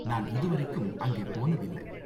நான் இதுவரைக்கும் அங்கே போனதில்ல.